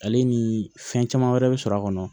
Ale ni fɛn caman wɛrɛ bɛ sɔrɔ a kɔnɔ